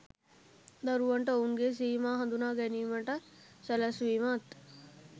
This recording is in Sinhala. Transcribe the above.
දරුවන්ට ඔවුන්ගේ සීමා හඳුනා ගැනීමට සැලැස්වීමත්